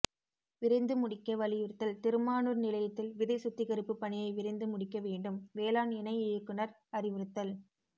விரைந்து முடிக்க வலியுறுத்தல் திருமானூர் நிலையத்தில் விதை சுத்திகரிப்பு பணியை விரைந்து முடிக்க வேண்டும் வேளாண் இணை இயக்குநர் அறிவுறுத்தல்